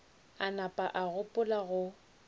a napa a gopola go